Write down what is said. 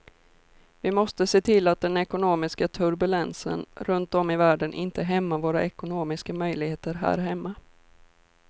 Vi måste se till att den ekonomiska turbulensen runt om i världen inte hämmar våra ekonomiska möjligheter här hemma.